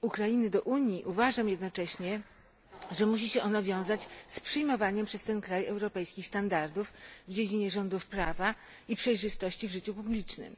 Ukrainy do Unii, uważam jednocześnie, że musi się ono wiązać z przyjmowaniem przez ten kraj europejskich standardów w dziedzinie rządów prawa i przejrzystości w życiu publicznym.